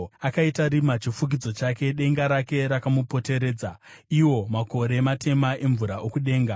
Akaita rima chifukidzo chake, denga rake rakamupoteredza, iwo makore matema emvura okudenga.